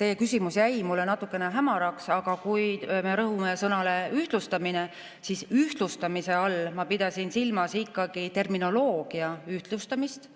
teie küsimus jäi mulle natuke hämaraks, aga kui me rõhume sõnale "ühtlustamine", siis ühtlustamise all ma pidasin silmas ikkagi terminoloogia ühtlustamist.